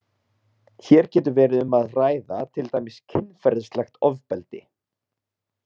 Hér getur verið um að ræða til dæmis kynferðislegt ofbeldi.